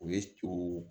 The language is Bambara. O ye to